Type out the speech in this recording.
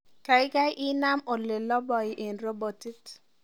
gaigai inam oleloboi en robotit